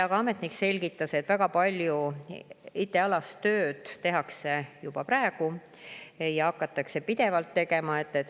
Ka ametnik selgitas, et väga palju IT‑alast tööd tehakse juba praegu ja hakatakse aastate jooksul pidevalt tegema.